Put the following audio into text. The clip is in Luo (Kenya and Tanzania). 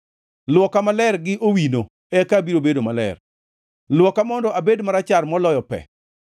Lwoka maler gi owino eka abiro bedo maler; lwoka mondo abed marachar moloyo pe.